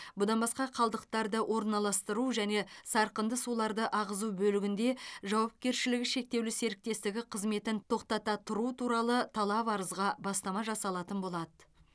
бұдан басқа қалдықтарды орналастыру және сарқынды суларды ағызу бөлігінде жауапкершілігі шектеулі серіктестігі қызметін тоқтата тұру туралы талап арызға бастама жасалатын болады